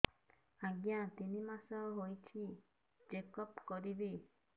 ଆଜ୍ଞା ତିନି ମାସ ହେଇଛି ଚେକ ଅପ କରିବି